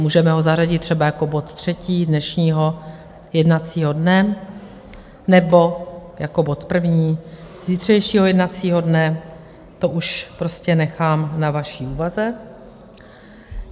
Můžeme ho zařadit třeba jako bod třetí dnešního jednacího dne nebo jako bod první zítřejšího jednacího dne, to už prostě nechám na vaší úvaze.